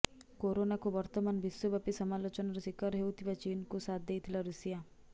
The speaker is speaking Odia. କୋରୋନାକୁ ବର୍ତ୍ତମାନ ବିଶ୍ୱବ୍ୟାପୀ ସମାଲୋଚନାର ଶିକାର ହେଉଥିବା ଚୀନକୁ ସାଥ ଦେଇଥିଲା ଋଷିଆ